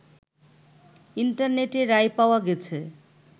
ইন্টারনেটে রায় পাওয়া গেছে